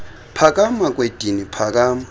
phakama kwedini phakama